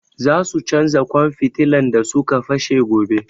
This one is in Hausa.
Za su canja ƙwan fitilan da su ka fashe gobe